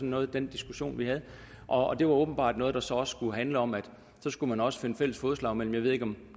noget af den diskussion vi havde og det var åbenbart noget der så skulle handle om at så skulle man også finde fælles fodslag mellem